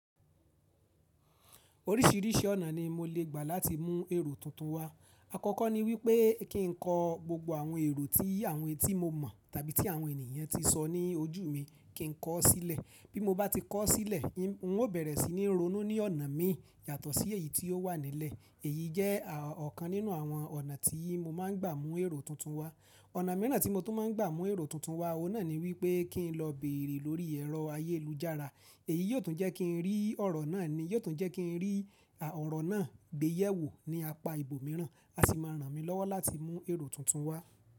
Oríṣìíríṣìí ọ̀nà ni mo lè gbà láti mú èrò tuntun wá. Àkọ́kọ́ ni wípé kí n kọ gbogbo àwọn èrò tí àwọn etí mo mọ̀ tàbí tí àwọn ènìyàn ti sọ ní ojú mi kí n kọ ó sílẹ̀. Bí mo bá ti kọ ó sílẹ̀, n ó bẹ̀rẹ̀ sí ní ronú ní ọ̀nà mi yàtọ̀ sí èyí tí ó wà nílẹ̀. Èyí jẹ́ ọ̀kan nínú àwọn ọ̀nà tí mo máa ń gbà mú èrò tuntun wá. Ọ̀nà mìíràn tí mo tún máa ń gbà mú èrò tuntun wá, òun náà ni wípé kí n lọ bèrè lórí ẹ̀rọ ayélujára. Èyí yóò tún jẹ́ kí n rí ọ̀rọ̀ náà ni, yóò tún jẹ́ kí n rí ọ̀rọ̀ náà gbéyẹ̀wò ní apá ibòmíràn, a sì máa ràn mí lọ́wọ́ láti mú èrò tuntun wá.